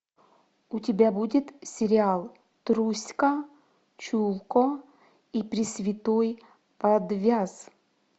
у тебя будет сериал труська чулко и пресвятой подвяз